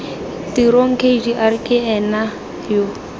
tirong kgr ke ena yo